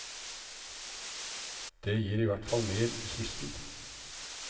Det gir i hvert fall mer i kisten.